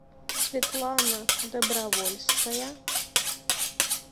светлана добровольская